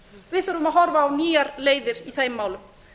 við þurfum að horfa á nýjar leiðir í þeim málum